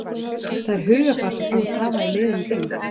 Það er hugarfar sem þú vilt hafa í liðinu þínu.